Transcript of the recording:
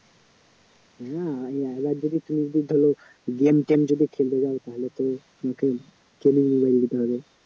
না আর যদি facebook ভাল game টেম যদি খেলতে চান তাহলে তো sony র mobile নিতে হবে